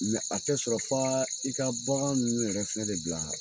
a tɛ sɔrɔ f'a i ka bagan ninnu yɛrɛ fana de bila Ok